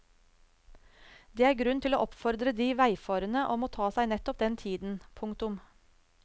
Det er grunn til å oppfordre de veifarende om å ta seg nettopp den tiden. punktum